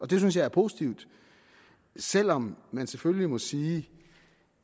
det synes jeg er positivt selv om man selvfølgelig må sige